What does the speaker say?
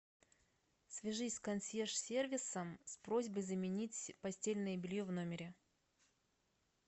свяжись с консьерж сервисом с просьбой заменить постельное белье в номере